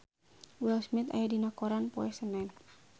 Will Smith aya dina koran poe Senen